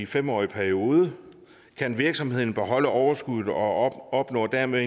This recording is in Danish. fem årige periode kan virksomheden beholde overskuddet og opnår dermed